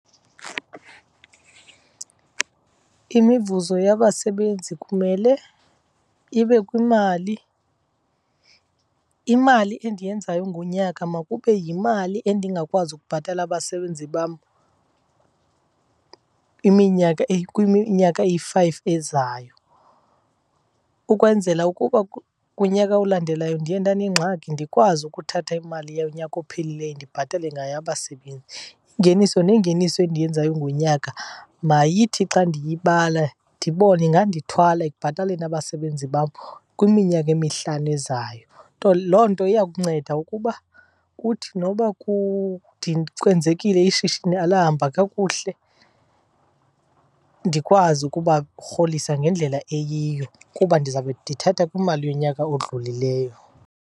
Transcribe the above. Imivuzo yabasebenzi kumele ibe kwimali. Imali endiyenzayo ngonyaka makube yimali endingakwazi ukubhatala abasebenzi bam iminyaka , kwiminyaka eyi-five ezayo, ukwenzela ukuba kunyaka olandelayo ndiye ndanengxaki ndikwazi ukuthatha imali yonyaka ophelileyo ndibhatale ngayo abasebenzi. Ingeniso nengeniso endiyenzayo ngonyaka mayithi xa ndiyibala ndibone ingandithwala ekubhataleni abasebenzi bam kwiminyaka emihlanu ezayo. Loo nto iya kunceda ukuba kuthi noba kwenzekile ishishini alahamba kakuhle ndikwazi ukubarholisa ngendlela eyiyo kuba ndizawube ndithatha kwimali yonyaka odlulileyo.